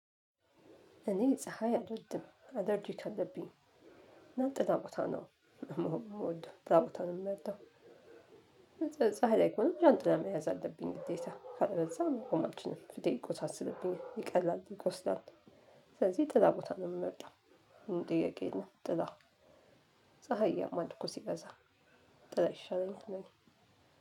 እኔ ፀሀይ አልወድም አለርጅክ አለብኝ እና ጥላ ቦታ ነው መሆን የምወደው እና ጥላ ቦታ ነው የምወደው። ፀሀይ ላይ ከሆንኩ ዣንጥላ መያዝ አለብኝ ግዴታ ካለበለዛ መቆም አልችልም ፊቴ ይቆሳስልብኛል ይቀላል ይቆስላል። ስለዚህ ጥላ ቦታ ነው የምመርጠው። ምንም ጥያቄ የለውም ጥላ። ፀሀይ ያማል እኮ ሲበዛ ጥላ ይሻለኛል ለእኔ።